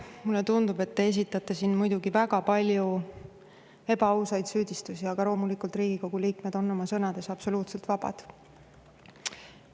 Mulle tundub, et te esitate siin väga palju ebaausaid süüdistusi, aga loomulikult Riigikogu liikmed on oma sõnades absoluutselt vabad.